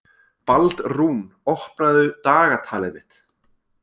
Baldrún, opnaðu dagatalið mitt.